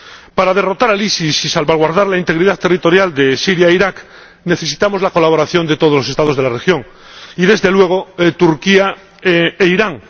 Para derrotar al EI y salvaguardar la integridad territorial de Siria e Irak, necesitamos la colaboración de todos los Estados de la región y, desde luego, de Turquía e Irán.